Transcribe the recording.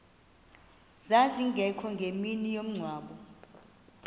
zazingekho ngemini yomngcwabo